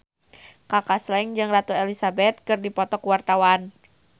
Kaka Slank jeung Ratu Elizabeth keur dipoto ku wartawan